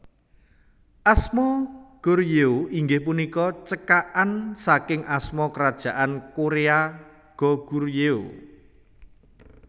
Asma Goryeo inggih punika cekakan saking asma Kerajaan Korea Goguryeo